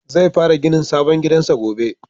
Zai fara ginin sabon gidansa gobe.